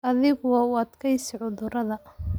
Adhigu waa u adkaysi cudurada.